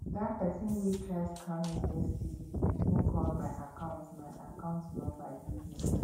that person wey try scam me yesterday even call my account my account number give me